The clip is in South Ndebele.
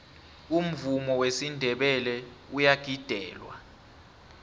umvumo wesinndebele uyagidelwa